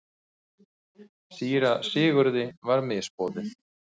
Síra Sigurði var misboðið.